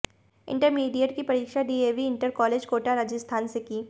intermediate की पढ़ाई DAV inter college Kota Rajasthan से की